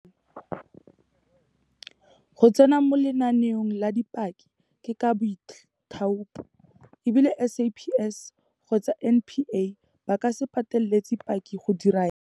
Go tsena mo lenaneong la dipaki ke ka boithaopo, e bile SAPS kgotsa NPA ba ka se pateletse paki go dira jalo.